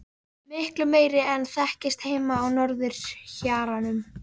Miklu meiri en þekktist heima á norðurhjaranum.